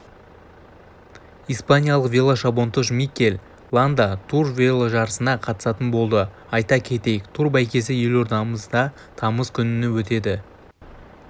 испаниялық велошабандоз микель ланда тур веложарысына қатысатын болды айта кетейік тур бәйгесі елордамызда тамыз күні өтеді